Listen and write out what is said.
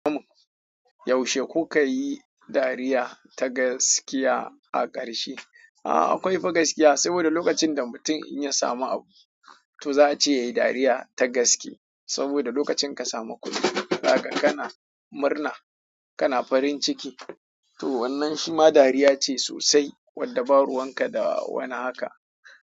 Yaushe kuka yi dariya ta gaskiya a ƙarshe? A'a akwai fa gaskiya saboda lokacin da mutum ya samu abu to zai ce yayi dariya ta gaske. Saboda lokacin ka samu kuɗi, haka kana murna, kana farin ciki. To wannan shi ma dariya ce sosai wadda ba ruwanka da wani haka.